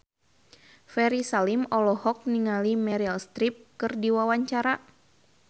Ferry Salim olohok ningali Meryl Streep keur diwawancara